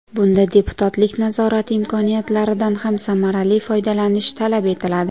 Bunda deputatlik nazorati imkoniyatlaridan ham samarali foydalanish talab etiladi.